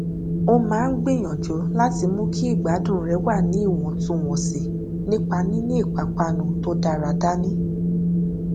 ó máa ń gbìyànjú láti mú kí ìgbádùn rẹ wà ní ìwọntúwọnsì nípa níní ìpápánu tó dára dání